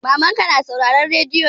Mamanka na sauraren rediyo ne?